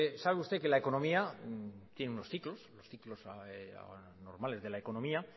sabe usted que la economía tiene unos ciclos los ciclos normales de la economía